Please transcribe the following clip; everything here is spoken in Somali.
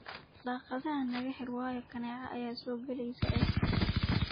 Daagadha nakaxir wayo kaneeca aya kasogali eh.